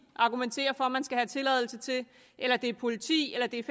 argumenterer for at man skal have tilladelse til eller det er politi eller det er